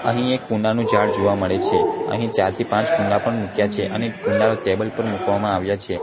અહીં એક કુંડાનુ ઝાડ જોવા મડે છે અહીં ચારથી પાંચ કુંડા પણ મૂક્યા છે અને કુંડા ટેબલ પર મૂકવામાં આવ્યા છે.